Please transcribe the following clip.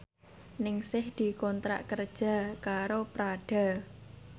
Ningsih dikontrak kerja karo Prada